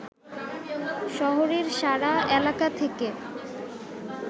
শহরের সাড়া এলাকা থেকে